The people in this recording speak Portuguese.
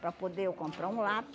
Para poder eu comprar um